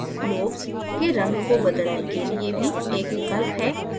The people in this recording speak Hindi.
lobes lobes के रंग को बदलने के लिए भी एक विकल्प है